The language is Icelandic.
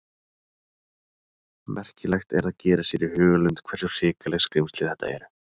Merkilegt er að gera sér í hugarlund hversu hrikaleg skrímsli þetta eru.